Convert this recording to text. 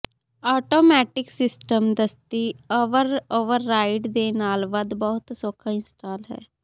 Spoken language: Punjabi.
ਆਟੋਮੈਟਿਕ ਸਿਸਟਮ ਦਸਤੀ ਓਵਰਰਾਈਡ ਦੇ ਨਾਲ ਵੱਧ ਬਹੁਤ ਸੌਖਾ ਇੰਸਟਾਲ ਹੈ